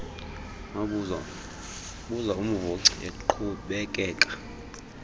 wabuza umvoci eqhubekeka